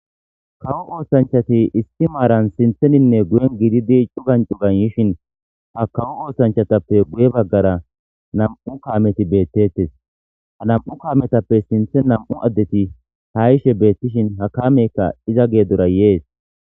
Kawo oosanchchati issi maaran siinththeninne guyen giididi cugan cugan yiishshin ha kawo oosanchchatappe guye baggara nam'u kaameti beettettes ha nam'u kaametappe siinththe nam'u addeti ha yiishshe beettishin ha kaamekka iza geedora yees